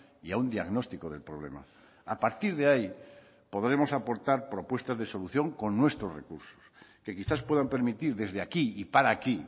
y a un diagnóstico del problema a partir de ahí podremos aportar propuestas de solución con nuestros recursos que quizás puedan permitir desde aquí y para aquí